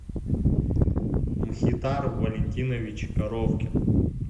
мхитар валентинович коровкин